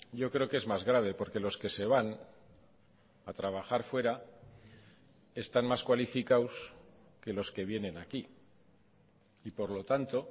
yo creo que es más grave porque los que se van a trabajar fuera están más cualificados que los que vienen aquí y por lo tanto